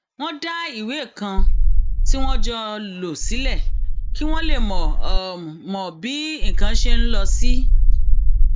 wọn dá ìwé um kan tí wọn jọ um ń lò sílẹ kí wọn lè mọ mọ bí nǹkan ṣe ń lọ sí